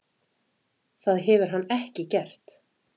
Það hefur hann ekki gert.